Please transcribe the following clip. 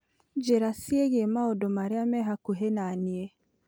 Njĩra ciĩgiĩ maũndũ marĩa me hakuhĩ na niĩ.